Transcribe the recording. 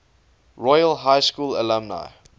royal high school alumni